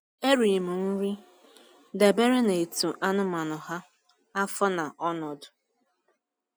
Eri m nri dabere n'etu anụmanụ ha, afọ, na ọnọdụ.